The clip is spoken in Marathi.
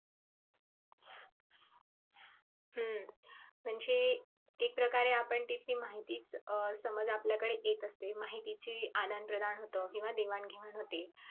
हम्म म्हणजे एक प्रकारे आपण तेथील माहितीच अं समज आपल्याकडे येत असते माहितीची अनंद प्रधान होत किंव्हा देवाणघेवाण होते.